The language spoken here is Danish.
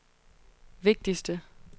vigtigste